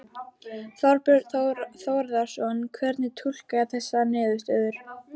Þorbjörn Þórðarson: Hvernig túlkarðu þessar niðurstöður?